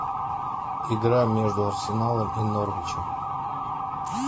игра между арсеналом и норвичем